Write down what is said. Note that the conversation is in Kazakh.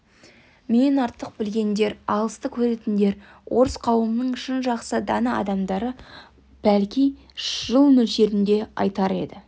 менен артық білгендер алысты көретіндер орыс қауымының шын жақсы дана адамдары бәлки жыл мөлшерін де айтар еді